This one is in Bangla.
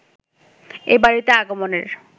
এ বাড়িতে আগমনের